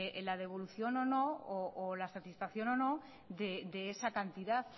la devolución o no o la satisfacción de esa cantidad